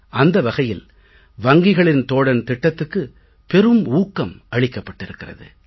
அந்த வகையில் வங்கிகளின் தோழன் திட்டத்துக்கு பெரும் ஊக்கம் அளிக்கப்பட்டிருக்கிறது